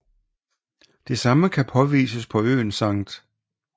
Det samme kan påvises på øen St